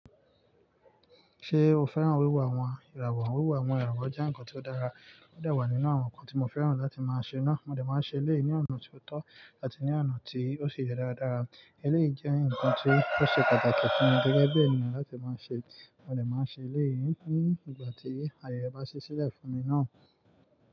Ṣé o fẹ́ràn wíwà àwọn ìràwọ̀? Wíwo àwọn ìràwọ̀ jẹ́ ǹkan ti ó dára, ó dẹ wa nínú àwọn ǹkan tí mo fẹ́ràn láti máa ṣe náà. Mo dẹ máa n ṣe eléyìí ni ọ̀nà ti ó tọ́ àti ní ọ̀nà tí ó si yẹ dáradára. Eléyii jẹ́ ǹkan tí ó ṣe pàtàkì fún mi gẹ́gẹ́ bí ènìyàn láti máa ṣe. Mo dẹ máa n ṣe eléw ní ìgbà tí ayẹ rẹ bá ṣí sílẹ̀ fún mi náà.